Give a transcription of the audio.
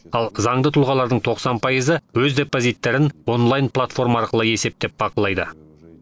ал заңды тұлғалардың тоқсан пайызы өз депозиттерін онлайн платформа арқылы есептеп бақылайды